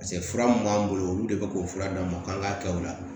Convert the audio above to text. fura mun b'an bolo olu de be k'u fura d'an ma k'an k'a kɛ o la